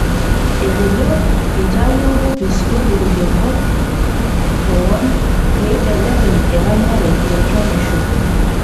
Etejo itawuo enkopis o lorik enkop kwon peibelekenye eranyare iatwa inkishu